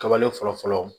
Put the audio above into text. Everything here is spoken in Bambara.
Kabale fɔlɔ fɔlɔ